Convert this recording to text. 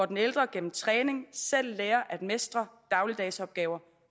den ældre igennem træning selv lærer at mestre dagligdagsopgaver